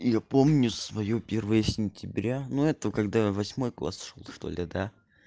и я помню своё первое сентября ну это я когда в восьмой класс шёл что ли да